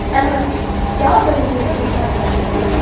ಅಲ್ಲ, ಯಾವಾಗ ನಿಮ್ಗೆ exam start ಆದದ್ದು.